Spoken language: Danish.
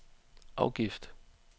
afgift